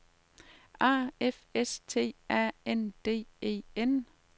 A F S T A N D E N